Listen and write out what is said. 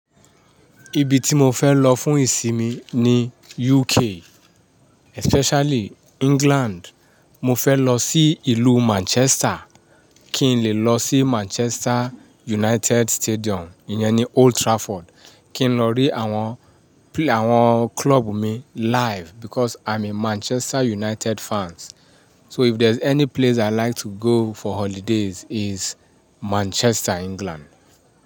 Ibi ti mo fẹ́ lọ fún ìsinmi ni UK, especially England. Mo fẹ́ lọ sí ìlú Manchester, kí n le lọ sí Manchester United Stadium, ìyẹn ni Old Trafford. Kí n lọ rí àwọn pl-- àwọn club mi live because I'm a Manchester United fans. So if there's any place i like to go for holidays is Manchester, England.